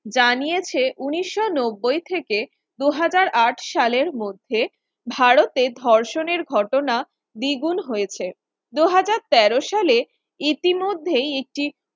জানিয়েছে উনিশ নব্বই থেকে দু হাজার আট সালের মধ্যে ভারতের ধর্ষণের ঘটনা দ্বিগুণ হয়েছে। দু হাজার তের সালে ইতিমধ্যেই একটি